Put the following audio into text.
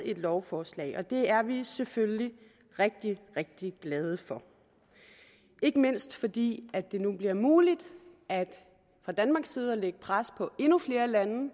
lovforslag og det er vi selvfølgelig rigtig rigtig glade for ikke mindst fordi det nu bliver muligt fra danmarks side at lægge pres på endnu flere lande